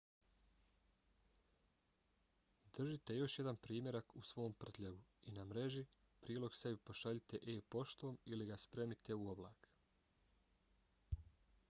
držite još jedan primjerak u svom prtljagu i na mreži prilog sebi pošaljite e-poštom ili ga spremite u oblak